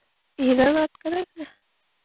હિરલ વાત કરે છ ને?